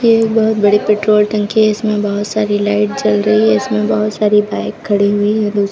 ये बोहोत बड़ी पेट्रोल टंकी है। इसमें बहोत सारी लाइट जल रही हैं। इसमें बहोत सारी बाइक खड़ी हुई हैं। दूस --